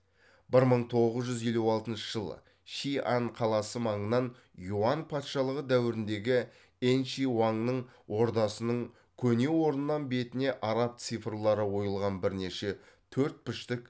бір мың тоғыз жүз елу алтыншы жылы шиань қаласы маңынан юань патшалығы дәуіріндегі энши уаңның ордасының көне орнынан бетіне араб цифрлары ойылған бірнеше төртбұрышты